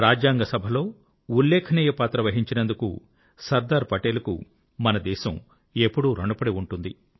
రాజ్యాంగ సభలో ఉల్లేఖనీయ పాత్ర వహించినందుకు సర్దార్ పటేల్ కు మన దేశం ఎప్పుడూ ఋణపడి ఉంటుంది